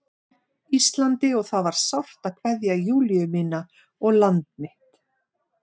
Íslandi og það var sárt að kveðja Júlíu mína og land mitt.